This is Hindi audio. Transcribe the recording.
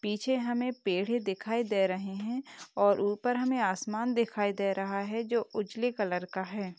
पीछे हमें पेड़ ही दिखाई दे रहे हैं और ऊपर हमें आसमान दिखाई दे रहा है जो उजले कलर का है।